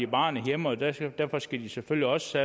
barnet hjemme og derfor skal de selvfølgelig også